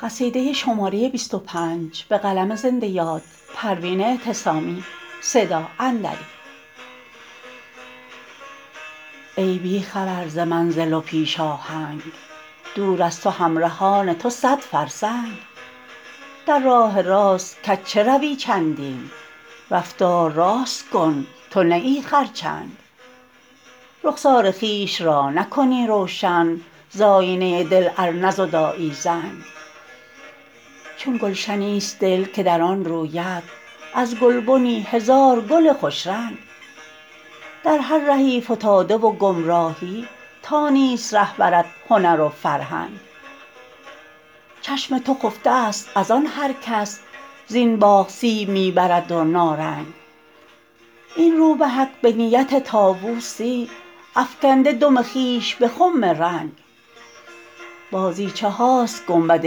ای بی خبر ز منزل و پیش آهنگ دور از تو همرهان تو صد فرسنگ در راه راست کج چه روی چندین رفتار راست کن تو نه ای خرچنگ رخسار خویش را نکنی روشن ز آیینه دل ار نزدایی زنگ چون گلشنی است دل که در آن روید از گلبنی هزار گل خوش رنگ در هر رهی فتاده و گمراهی تا نیست رهبرت هنر و فرهنگ چشم تو خفته است از آن هر کس زین باغ سیب می برد و نارنگ این روبهک به نیت طاوسی افکنده دم خویش به خم رنگ بازیچه هاست گنبد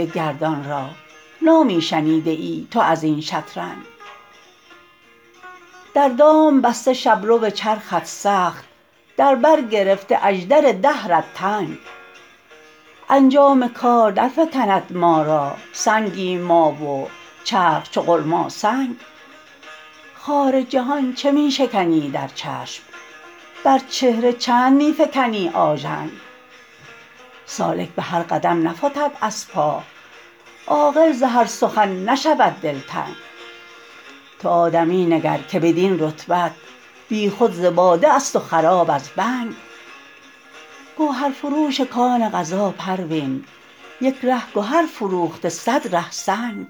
گردان را نامی شنیده ای تو ازین شترنگ در دام بسته شبرو چرخت سخت در بر گرفته اژدر دهرت تنگ انجام کار در فکند ما را سنگیم ما و چرخ چو غلماسنگ خار جهان چه می شکنی در چشم بر چهره چند می فکنی آژنگ سالک به هر قدم نفتد از پا عاقل ز هر سخن نشود دلتنگ تو آدمی نگر که بدین رتبت بی خود ز باده است و خراب از بنگ گوهرفروش کان قضا پروین یک ره گهر فروخته صد ره سنگ